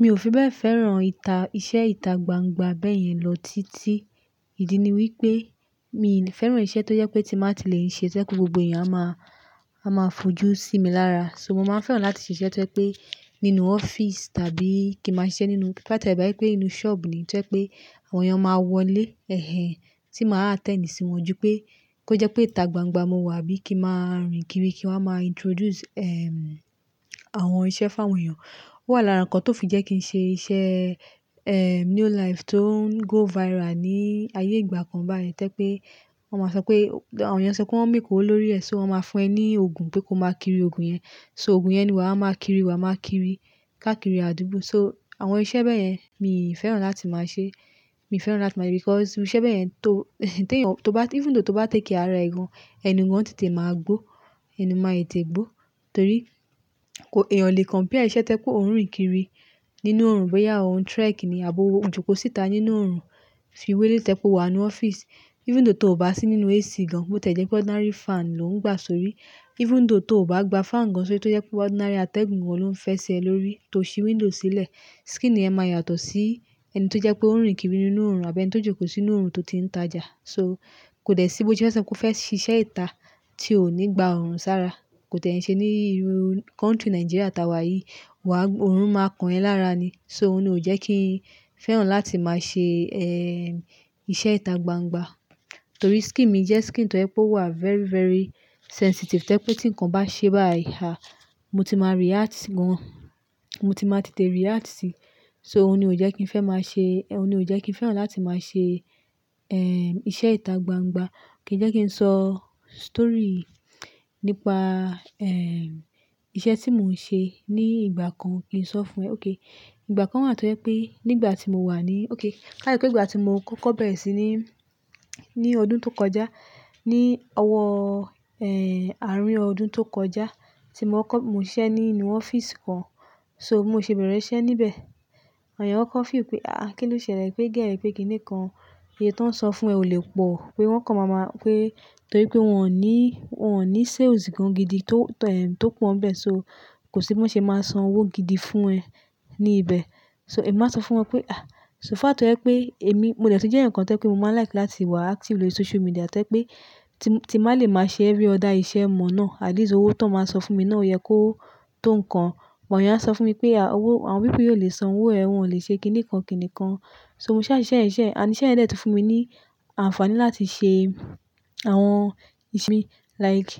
Mi ò fi bẹ́ẹ̀ fẹ́ràn ìṣe ìta gbangba bẹ́yẹn lọ títí. Ìdí ni wípé mi ò fẹ́ràn iṣẹ́ tó jẹ́ pé tí má tí lè ń ṣe, ẹ́ pé gbogbo èèyàn á máa fojú sí mi lára. So mo máa fẹ́ràn láti ṣe iṣẹ́ tó jẹ́ pé nínú ọ́fíísì tàbí kí má ṣe iṣẹ́ nínú, ba tie bẹ́ẹ̀ pé inú ṣọ́ọ̀bù ni tó jẹ́ pé àwọn èèyàn máa wọlé ẹ̀hẹ̀n tí máa attend sí wọn ju pé kó jẹ́ pé ìta gbangba mo wà bí kí má rìn kiri kí wọ́n má introduce, ehm, àwọn iṣẹ́ fún àwọn èèyàn. Ó wà lára nǹkan tó fi jẹ́ kí n ṣe iṣẹ́, ehn, New Life tó ń go viral ní ayé ìgbà kan báyìí tẹ́ pé wọ́n máa sọ pé àwọn èèyàn sọ pé wọ́n ń make owó lórí ẹ̀, so wọ́n máa fún ẹ ní ògùn pé ko máa kiri ògùn yẹn. So ògùn yẹn ni wà á máa kiri, wà á máa kiri ká kiri àdúgbò. So àwọn iṣẹ́ bẹ́yẹn mi ò fẹ́ràn láti máa ṣe. Mi ò fẹ́ràn láti máa rí because iṣẹ́ bẹ́yẹn tó, tó bá even though tó bá tẹ̀ care ara ẹ̀ gan, ẹnu gan tètè máa gbó, ẹnu máa tètè gbó torí ko èèyàn le compare iṣẹ́ tó pé ó ń rìn kiri nínú òrùn bóyá òun trek ni àbo owó, jókòó síta nínú òrùn fi wo eléyìí tẹ́ pé o wà á nínú ọ́fíísì. Even though tó ò bá sí nínú AC gan, bó tí ẹ̀ jẹ́ pé ordinary fan ló ń gbà sórí, even though tó ò bá gba fan gan sórí tó jẹ́ pé ordinary atẹ́gùn gan ló ń fẹsẹ̀ lórí tó ṣí window sílẹ̀. Skin yẹn máa yàtọ̀ sí ẹni tó jẹ́ pé ó ń rìn kiri nínú òrùn àbí ẹni tó jókòó sínú òrùn tó ti ń tajà. So kò dè ṣíbó tí ó fẹ́ sọ pé kó fẹ́ ṣe iṣẹ́ ìta tí ò ní gba òrùn sára. Kò tẹ́ ẹ ṣe ní ìlú country Nigeria tá wà yìí. Wà á, òrùn máa kan ẹ lára ni. So òun ni ò jẹ́ kí n fẹ́ràn láti máa ṣe, ehn, iṣẹ́ ìta gbangba torí skin mi jẹ́ skin tó jẹ́ pé o wà á very, very sensitive to je pé tí nǹkan bá ṣe báyìí há, mo ti máa react gan. Mo ti máa tètè react síi. So òun ni ò jẹ́ kí n fẹ́ máa ṣe, òun ni ò jẹ́ kí n fẹ́ràn láti máa ṣe, ehn, iṣẹ́ ìta gbangba. Kì í jẹ́ kí n sọ story nípa, ehn, iṣẹ́ tí mò ń ṣe ní ìgbà kan, kí n sọ fún ẹ. Okay. Ìgbà kan wà tó jẹ́ pé nígbà tí mo wà ní-- okay, káàdà tí pé ìgbà tí mo kọ́kọ́ bẹ̀rẹ̀ sí ní, ní ọdún tó kọjá ní ọwọ́, ehn, àárín ọdún tó kọjá tí mò ń kọ́, mò ń ṣe ní inú ọ́fíísì kan. So mò ń ṣe bẹ̀rẹ̀ iṣẹ́ níbẹ̀. Àwọn èèyàn wọ́n kọ́ feel pé, "àáà kín ló ṣẹlẹ̀? Pé girl yìí pé kíni kan." Iye tó ń sọ fún ẹ ò lè pọ̀ pé wọ́n kọ̀ máa ma pé torí pé wọ́n ò ní, wọ́n ò ní sales gan gidi tó, ehm, tó pọ́n bẹ́ẹ̀, so kò sí bí wọ́n ṣe máa san owó gidi fún ẹ ní ibẹ̀. So èmi máa sọ fún wọn pé, "àáà so far tó jẹ́ pé èmi molẹ́ tí jẹ́ eyaǹ kan tẹ́ pé mo má n like láti wà active lórí social media tẹ̀ pé tí, tí má lè máa ṣe every other iṣẹ́ mọ̀ náà at least owó tó máa san fún mi náà ò yẹ kó tó nǹkan. Àwọn èèyàn sọ fún mi pé à owọ àwọn people yìí ó lè san owó ẹ, wọ́n ò lè ṣe kíni kan, kíni kan. So mo ṣẹ́ iṣẹ́ ẹ̀ iṣe, ànd iṣẹ́ yen dẹ́ẹ̀ tí fún mi ní àǹfààní láti ṣe àwọn ìṣe like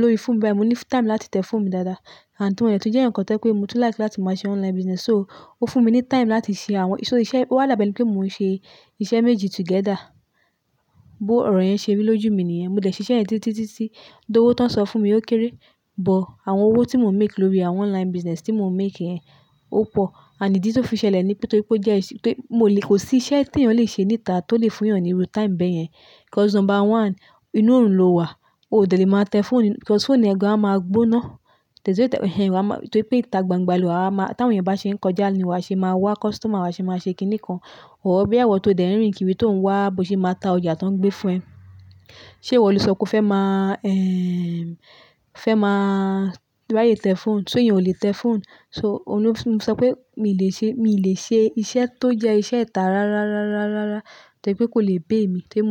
lórí phone báyìí. Mo ní time láti tẹ phone mi dáadáa. And ti mo de tí jẹ́ eyan kan tẹ̀ pé mo tún like láti máa ṣe online business so ó fún mi ní time láti ṣe àwọn-- so iṣẹ́, ó wà da bẹ́ ni pé mò ń ṣe iṣẹ́ méjì together. Bo ọ̀rọ̀ yẹn ṣe rí lójú mi nìyẹn. Mo dẹ̀ ṣe iṣẹ́ yẹ̀n títí, títí, títí though owó tó ń san fún mi ó kéré, but àwọn owó tí mò ń make lórí àwọn online business tí mò ń make yẹn ó pọ̀. And idi tí ó fi ṣẹlẹ̀ ní wipé torí pé ó jẹ́ iṣẹ́ pé mo lè kò sí iṣẹ́ tí èèyàn lè ṣe ní ìta tó lè fún èèyàn níru time bẹ́yẹn. Because number one, inú òrùn lo wà. O delè máa tẹ phone because phone ẹ̀ gan á máa gbóná. Tẹ́ se tí ó tẹ ẹ̀hẹ̀n rẹ á máa-- torí pé ìta gbangba lo wà á máa, tí àwọn èèyàn bá ṣe ń kọjá ni wà á ṣe máa wá, customer wà á ṣe máa ṣe kíni kan. Or bí èwọ̀ tó dẹ̀ ń rìn kiri tó ń wá bó ṣe máa ta ọjà tó ń gbé fún ẹ. Ṣé ìwọ ló sọ pé ó fẹ́ má, ehn, fẹ́ má ri aye tẹ phone? So eyan ò lè tẹ phone. So òun lo tun sọ pé mi ò lè ṣe, mi ò lè ṣe iṣẹ́ tó jẹ́ iṣẹ́ ìta rárá, rárá, rárá, rárá tẹ̀ pé kò lè pay mi ti mo.